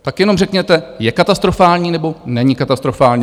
Tak jenom řekněte, je katastrofální, nebo není katastrofální?